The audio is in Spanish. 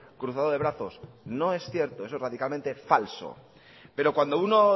cruzado de brazos no es cierto eso es radicalmente falso pero cuando uno